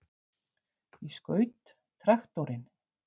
Ég skaut traktorinn!